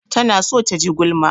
Tana so ta ji gulma.